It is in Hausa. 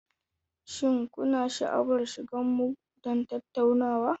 Shin kuna sha'awar shiga mu don tattaunawa?